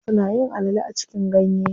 Wasu nayin alale a cikin ganye.